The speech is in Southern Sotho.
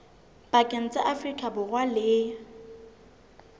pakeng tsa afrika borwa le